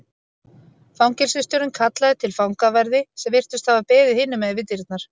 Fangelsisstjórinn kallaði til fangaverði sem virtust hafa beðið hinum megin við dyrnar.